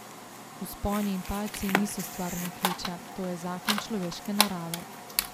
Vzponi in padci niso stvar naključja, to je zakon človeške narave.